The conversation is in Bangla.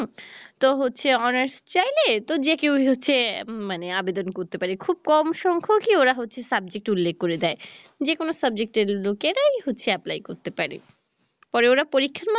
তো হচ্ছে honers চাইলে তো যে কেউ হচ্ছে মানে আবেদন করতে পারে খুব কম সংখ্যকই ওরা হচ্ছে subject উল্লেখ করে দেয় যে কোনো subject এর লোকেরাই হচ্ছে apply করতে পারে পরে ওরা পরীক্ষার মাধ্যমে